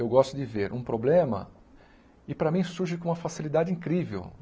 Eu gosto de ver um problema e para mim surge com uma facilidade incrível.